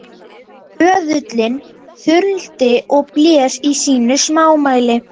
Böðullinn þuldi og blés í sínu smámæli